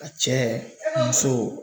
A cɛ musow